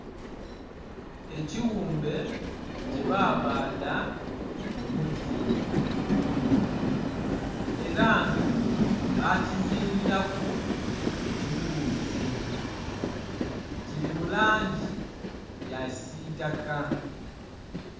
Ekiwumbe kyebabadha mumuti era nga bakizingira ku ekiwuzi kiri mu langi ya kisitaka.